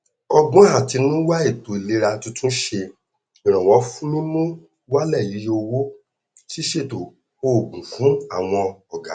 ọgbọn àtinúdá ètò ìlera tuntun ṣe ìrànwọ fún mímú wálẹ iyé owó ṣíṣètò òògùn fún àwọn ọgá